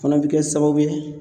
Fana bɛ ke sababu ye